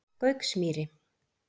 Gauksmýri